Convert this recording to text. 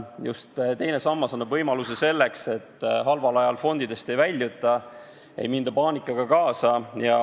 Just teine sammas annab võimaluse selleks, et halval ajal fondidest ei väljuta, ei minda paanikaga kaasa.